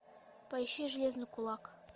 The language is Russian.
поищи железный кулак